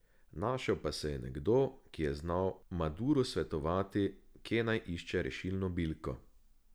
Našel pa se je nekdo, ki je znal Maduru svetovati, kje naj išče rešilno bilko.